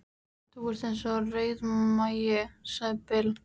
Þú varst eins og rauðmagi, sagði Bill.